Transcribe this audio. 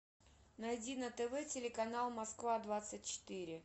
найди на тв телеканал москва двадцать четыре